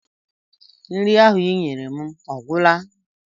Nri ahụ I nyere m ọ gwụla?